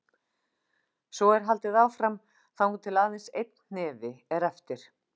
Svo er haldið áfram þangað til aðeins einn hnefi er eftir.